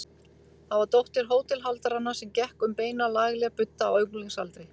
Það var dóttir hótelhaldaranna sem gekk um beina, lagleg budda á unglingsaldri.